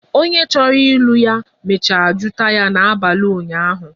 Onye chọrọ ịlụ ya mecha jụta ya n'abali ụnyahụ